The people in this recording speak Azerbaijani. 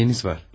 Nəyiniz var?